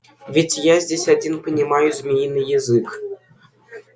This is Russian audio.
ведь я здесь один понимаю змеиный язык